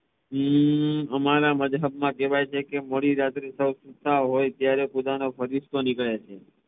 હમ અમારા મજહબ માં કેવાઈ છે કે મોડી રાત્રે જયારે બધા સુતા હોઈ ત્યારે ખુદાનો ફરિશ્તો નીકળે છે